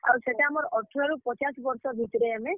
ଆର୍ ସେଟା ଆମର୍ ଅଠର ରୁ ପଚାଶ୍ ବର୍ଷ ଭିତ୍ ରେ ଆମେ।